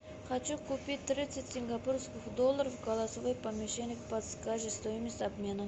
хочу купить тридцать сингапурских долларов голосовой помощник подскажи стоимость обмена